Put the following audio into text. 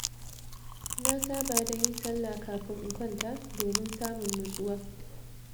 Na saba da yin salla kafin in kwanta, domin samun natsuwa.